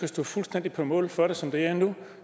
stå fuldstændig på mål for det som det er nu